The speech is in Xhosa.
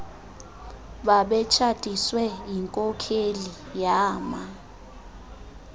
babetshatiswe yinkokheli yama